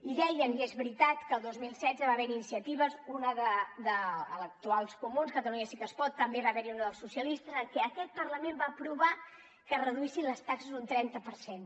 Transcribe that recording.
i deien i és veritat que el dos mil setze va haver hi iniciatives una dels actuals comuns catalunya sí que es pot també n’hi va haver una dels socialistes en què aquest parlament va aprovar que es reduïssin les taxes un trenta per cent